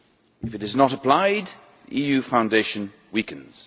If it is not applied, the EU foundation weakens.